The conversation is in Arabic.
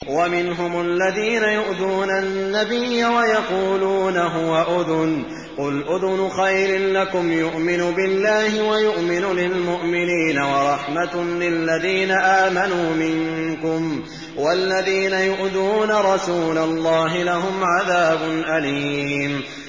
وَمِنْهُمُ الَّذِينَ يُؤْذُونَ النَّبِيَّ وَيَقُولُونَ هُوَ أُذُنٌ ۚ قُلْ أُذُنُ خَيْرٍ لَّكُمْ يُؤْمِنُ بِاللَّهِ وَيُؤْمِنُ لِلْمُؤْمِنِينَ وَرَحْمَةٌ لِّلَّذِينَ آمَنُوا مِنكُمْ ۚ وَالَّذِينَ يُؤْذُونَ رَسُولَ اللَّهِ لَهُمْ عَذَابٌ أَلِيمٌ